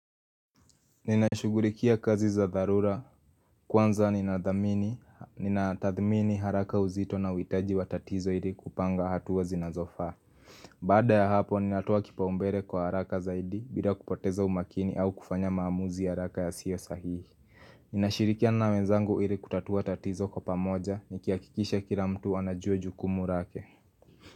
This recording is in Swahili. Ninashughulikia kazi za dharura kwanza ninatathmini haraka uzito na uhitaji wa tatizo ili kupanga hatua zinazofaa Baada ya hapo ninatoa kipaombele kwa haraka zaidi bila kupoteza umakini au kufanya maamuzi haraka ya siyo sahihi Ninashirikiana na wezangu ili kutatua tatizo kwa pamoja, nikihakikisha kila mtu anajua jukumu lake.